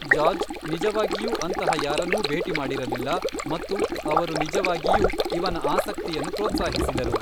George ನಿಜವಾಗಿಯೂ ಅಂತಹ ಯಾರನ್ನೂ ಭೇಟಿ ಮಾಡಿರಲಿಲ್ಲ, ಮತ್ತು ಅವರು ನಿಜವಾಗಿಯೂ ಇವನ ಆಸಕ್ತಿಯನ್ನು ಪ್ರೋತ್ಸಾಹಿಸಿದರು.